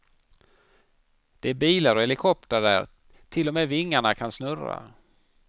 Det är bilar och helikoptrar där till och med vingarna kan snurra.